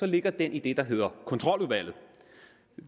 ligger den i det der hedder kontroludvalget